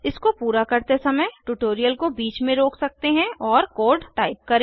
इसको पूरा करते समय ट्यूटोरियल को बीच में रोक सकते हैं और कोड टाइप करें